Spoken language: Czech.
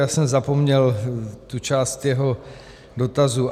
Já jsem zapomněl tu část jeho dotazu.